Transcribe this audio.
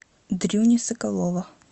дрюни соколова